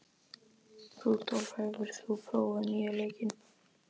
Rúdólf, hefur þú prófað nýja leikinn?